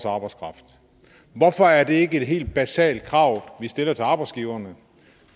arbejdskraft hvorfor er det ikke et helt basalt krav vi stiller til arbejdsgiverne